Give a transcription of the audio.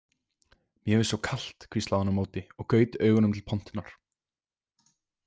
Mér finnst svo kalt, hvíslaði hún á móti og gaut augunum til pontunnar.